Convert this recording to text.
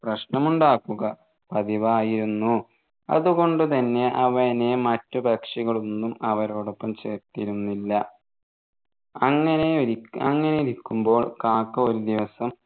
പ്രശ്‌നമുണ്ടാക്കുക പതിവായിരുന്നു അതുകൊണ്ട് തന്നെ അവനെ മറ്റു പക്ഷികളൊന്നും അവരോടൊപ്പം ചേർത്തിരുന്നില്ല അങ്ങനെ ഒരിക്കെ അങ്ങനെ നിൽക്കുമ്പോൾ കാക്ക ഒരു ദിവസം